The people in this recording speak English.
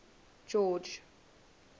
george